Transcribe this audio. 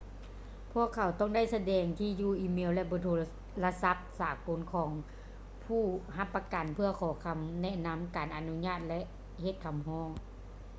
ພວກເຂົາຕ້ອງໄດ້ສະແດງທີ່ຢູ່ອີເມວ ແລະ ເບີໂທລະສັບສາກົນຂອງຜູ້ຮັບປະກັນເພື່ອຂໍຄຳແນະນຳ/ການອະນຸຍາດ ແລະ ເຮັດຄຳຮ້ອງ